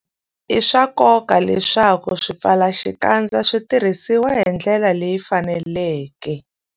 I swa nkoka leswaku swipfalaxikandza swi tirhisiwa hi ndlela leyi faneleke.